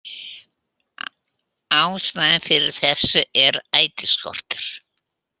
Ástæðan fyrir þessu er ætisskortur